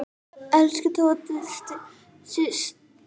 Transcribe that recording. Elsku Tóta systir.